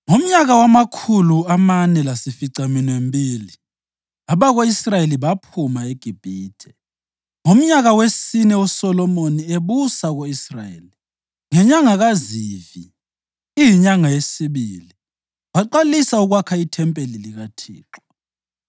Ngomnyaka wamakhulu amane lasificaminwembili abako-Israyeli baphuma eGibhithe, ngomnyaka wesine uSolomoni ebusa ko-Israyeli, ngenyanga kaZivi, iyinyanga yesibili, waqalisa ukwakha ithempeli likaThixo.